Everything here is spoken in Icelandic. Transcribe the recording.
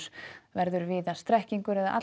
verður víða strekkingur eða